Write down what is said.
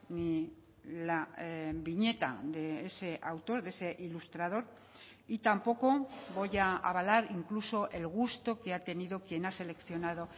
ni la viñeta de ese autor de ese ilustrador y tampoco voy a avalar incluso el gusto que ha tenido quien ha seleccionado